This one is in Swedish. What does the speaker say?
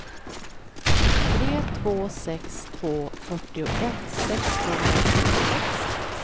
tre två sex två fyrtioett sexhundratjugosex